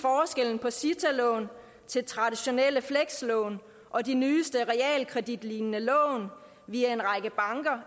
er forskellen på cita lån til traditionelle flekslån og de nyeste realkreditlignende lån via en række banker